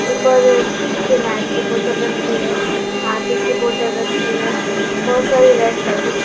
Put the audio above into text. ऊपर फिनायल की बोतल रखी है हार्पिक की बोतल रखी है। बहोत सारी रेड पैकेट्स --